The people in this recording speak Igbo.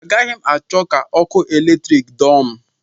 Agaghị m achọ ka ọkụ eletrik dọọ m